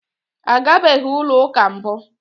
A gabeghị ụlọ ụka mbụ.